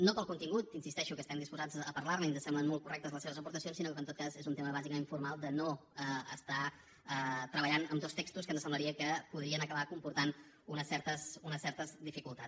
no pel contingut insisteixo que estem disposats a parlarne i que ens semblen molt correctes les seves aportacions sinó que en tot cas és un tema bàsicament formal de no estar treballant amb dos textos que ens semblaria que podrien acabar comportant unes certes dificultats